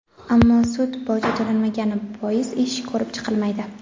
Ammo sud boji to‘lanmagani bois ish ko‘rib chiqilmaydi.